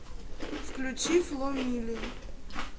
включи фло мили